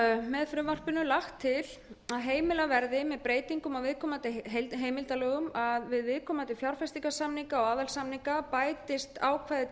með frumvarpinu er lagt til að heimilað verði með breytingum á viðkomandi heimildarlögum að við viðkomandi fjárfestingarsamninga og aðalsamninga bætist ákvæði til